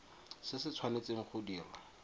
se se tshwanetseng go dirwa